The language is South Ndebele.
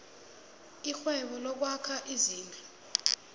irhwebo lokwakha izindlu